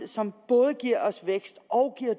som både giver os vækst